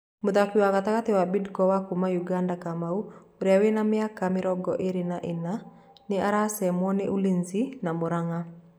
Mũthaki wa gatagatĩ wa Bidco wa kuma Ũganda Kamau Kuria ũrĩa wina m mĩaka mĩrongo ĩrĩ na ina nĩ aracemo nĩ Ulinzi na Muranga